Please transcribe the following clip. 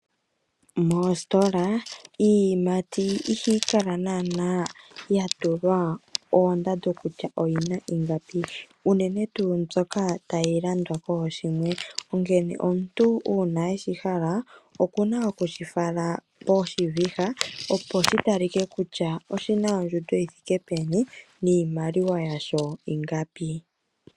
Moositola iiyimati ihayi kala nana ya tulwa oondando kutya oyina ingapi. Unene tu mbyoka tayi landwa kooshimwe. Onkene omuntu ua weshi hala oku na oku shi fala poshiviha. Shoshi talike kutya oshi thike peni niimaliwa yasho ingapi.